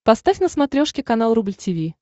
поставь на смотрешке канал рубль ти ви